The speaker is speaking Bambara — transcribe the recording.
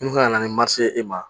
Min kan ka na ni ye e ma